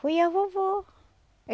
Foi a vovó.